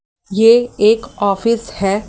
ये एक ऑफिस है।